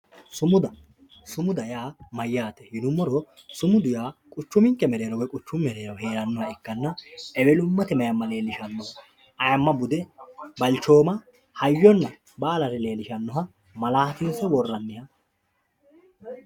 sumuda sumuda yaa mayaate yinummoro sumudu yaa quchuminke mereero woy quchumu mereero heerannoha ikkanna ewelummate mayiima leelishanno ayiima, bude, balchooma, hayyonna baalare leelishannoha malaatinse worraniha